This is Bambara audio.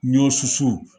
Ɲɔ susu